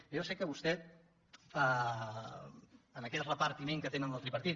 jo ja sé que vostè en aquest repartiment que tenen del tripartit